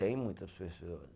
Tem muitas pessoas.